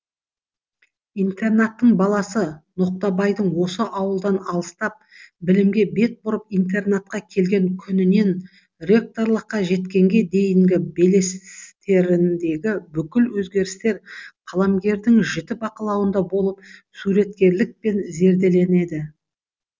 интернаттың баласы ноқтабайдың осы ауылдан алыстап білімге бет бұрып интернатқа келген күнінен ректорлыққа жеткенге дейінгі белестеріндегі бүкіл өзгерістер қаламгердің жіті бақылауында болып суреткерлікпен зерделенеді